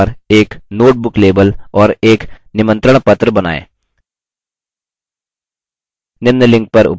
इस slide के अनुसार एक note book label और एक निमंत्रणपत्र बनाएँ